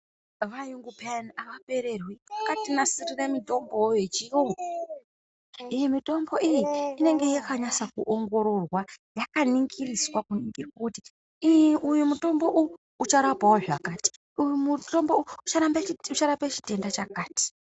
Vayungu pheyani avapererwi. Vakatinasirire mitombowo yechiyungu, ende mitombo iyi inenge yakanasa, kuongororwa, yakaningiriswa, kuningirwe kuti iyi uyu mutombo uyu, ucharapawo zvakati, uyu mutombo uyu ucharambe ucharape chitenda chakati.